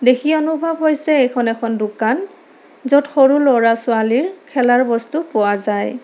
দেখি অনুভৱ হৈছে এইখন এখন দোকান য'ত সৰু ল'ৰা-ছোৱালীৰ খেলাৰ বস্তু পোৱা যায়।